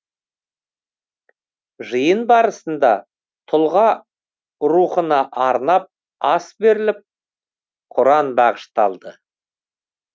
жиын барысында тұлға рухына арнап ас беріліп құран бағышталды